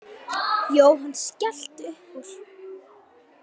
Jóhann skellti upp úr.